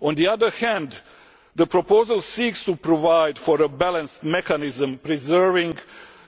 On the other hand, the proposal seeks to provide for a balanced mechanism that preserves